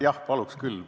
Jah, paluks küll.